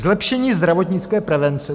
Zlepšení zdravotnické prevence.